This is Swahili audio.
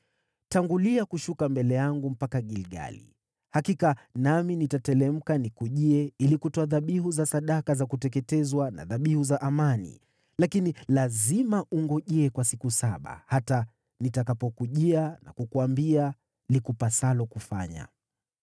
“Tangulia kushuka mbele yangu mpaka Gilgali. Hakika nami nitateremka nikujie ili kutoa dhabihu za sadaka za kuteketezwa na dhabihu za amani, lakini lazima ungoje kwa siku saba hata nitakapokujia na kukuambia likupasalo kufanya.”